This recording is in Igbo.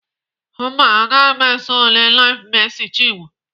Mba, agaghị m eso ele LIVE Mercy Chinwo.